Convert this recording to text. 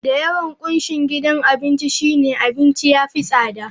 Da yawan kunshin gidan abinci shine, abincin ya fi tsada.